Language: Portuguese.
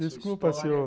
Desculpa, senhor.